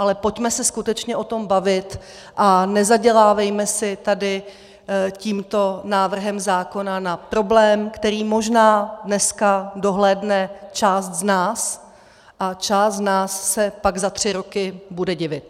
Ale pojďme se skutečně o tom bavit a nezadělávejme si tady tímto návrhem zákona na problém, který možná dneska dohlédne část z nás a část z nás se pak za tři roky bude divit.